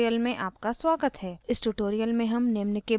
इस tutorial में निम्न के बारे में सीखेंगे :